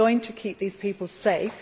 It is going to keep these people safe.